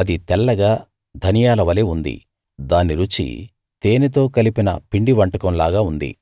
అది తెల్లగా ధనియాల వలే ఉంది దాని రుచి తేనెతో కలిపిన పిండి వంటకం లాగా ఉంది